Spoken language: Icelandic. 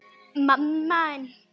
Frændi minn!